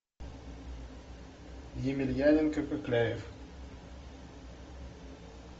емельяненко кокляев